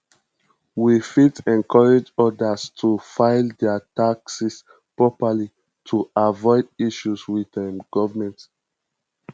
we fit encourage others to file their taxes properly to avoid issues with government